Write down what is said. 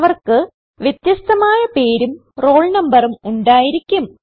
അവർക്ക് വ്യത്യസ്ഥമായ പേരും റോൾ നമ്പറും ഉണ്ടായിരിക്കും